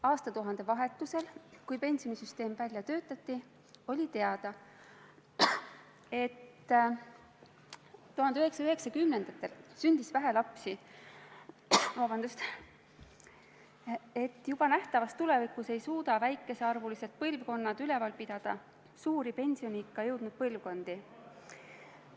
Aastatuhande vahetusel, kui pensionisüsteem välja töötati, oli teada, et 1990-ndatel sündis vähe lapsi ja et juba nähtavas tulevikus ei suuda väikesearvulised põlvkonnad üleval pidada suuri pensioniikka jõudnud põlvkondi.